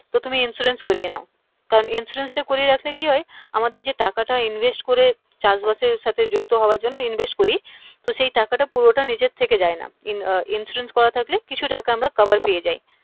তো তুমি insurance করিয়ে নাও কারণ insurance টা করিয়ে রাখলে কি হয় আমাদের যে টাকা টা invest করে চাষ বাস এর সাথে যুক্ত হওয়ার জন্যে invest করি তো সেই টাকাটা পুরোটা নিজের থেকে যায় না insurance করা থাকলে কিছু টাকা আমরা cover পেয়ে যাই